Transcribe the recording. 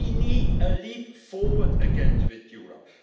We need a leap forward again with Europe.